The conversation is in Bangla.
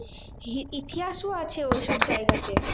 ইতিহাসও আছে ওইসব জায়গাতে।